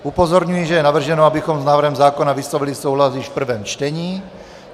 Upozorňuji, že je navrženo, abychom s návrhem zákona vyslovili souhlas již v prvém čtení.